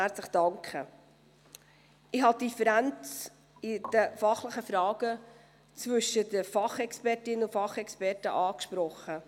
Ich habe die Differenz in fachlichen Fragen zwischen den Fachexpertinnen und -experten angesprochen.